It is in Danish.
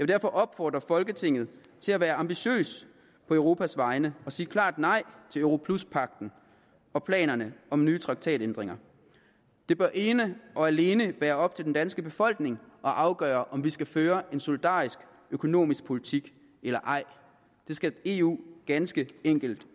derfor opfordre folketinget til at være ambitiøs på europas vegne og sige klart nej til europluspagten og planerne om nye traktatændringer det bør ene og alene være op til den danske befolkning at afgøre om vi skal føre en solidarisk økonomisk politik eller ej det skal eu ganske enkelt